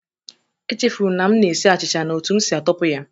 Echefuru m na m na-esi achịcha na otú m si atọpụ ya